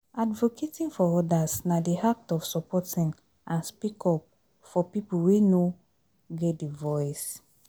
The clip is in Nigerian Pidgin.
Advocating for odas na di act of supporting and speak up for people wey no get di voice.